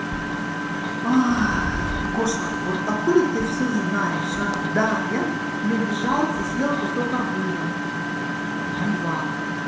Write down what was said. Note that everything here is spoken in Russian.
гоша вот откуда ты всё знаешь а да я не удержалась и съела кусок арбуза ну два